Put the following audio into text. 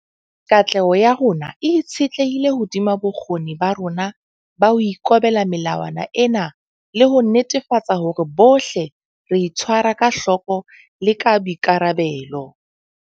Katleho ya rona e itshetlehile hodima bokgoni ba rona ba ho ikobela melawana ena le ho netefatsa hore bohle re itshwara ka hloko le ka boikarabelo.